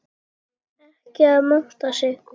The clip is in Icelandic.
Ekki að monta sig.